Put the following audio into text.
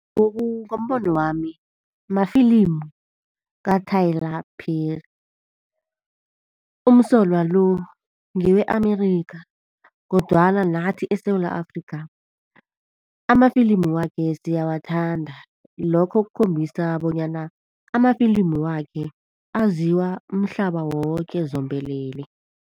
Ngombono wami mafilimi kaTyler Perry. Umsolwa lo ngewe-Amerikha kodwana nathi eSewula Afrika amafilimu wakhe siyawathanda. Lokho kukhombisa bonyana amafilimu wakhe aziwa umhlaba woke zombelele.